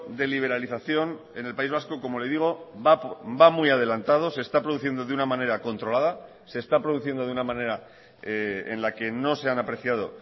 de liberalización en el país vasco como le digo va muy adelantado se está produciendo de una manera controlada se está produciendo de una manera en la que no se han apreciado